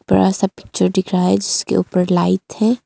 बड़ा सा पिक्चर दिख रहा है इसके ऊपर लाइट है।